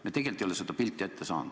Me tegelikult ei ole seda pilti ette saanud.